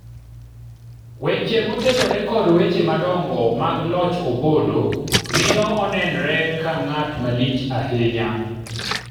weche motenore kod weche madongo mag loch Opollo miyo onenre ka ng'at malich ahinya